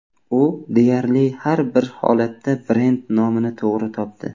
U deyarli har bir holatda brend nomini to‘g‘ri topdi.